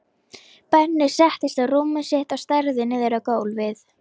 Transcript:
Benni settist á rúmið sitt og starði niður á gólfið.